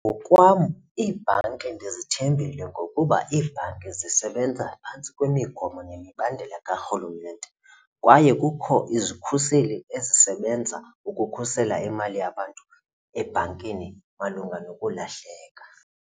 Ngokwam iibhanki ndizithembile ngokuba iibhanki zisebenza phantsi kwemigomo nemibandela karhulumente kwaye kukho izikhuseli ezisebenza ukukhusela imali yabantu ebhankini malunga nokulahleka.